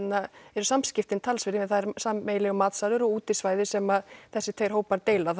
eru samskiptin talsverð því það er sameiginlegur matsalur og útisvæði sem þessir tveir hópar deila